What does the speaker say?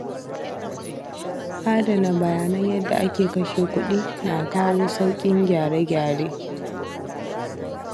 Adana bayanan yadda ake kashe kuɗi na kawo sauƙin gyare gyare.